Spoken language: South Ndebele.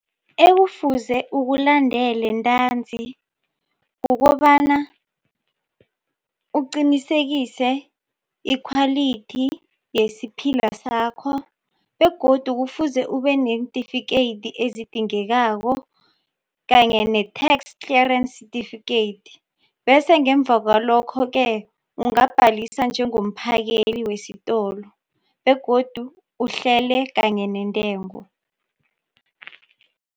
Ekufuze ukulandele ntanzi kukobana uqinisekise ikhwalithi yesiphila sakho begodu kufuze ube neentifikeyiti ezidingekako kanye ne-tax clearance certificate bese ngemva kwalokho-ke ungabhalisa njengomphakeli wesitolo begodu uhlele kanye nentengo.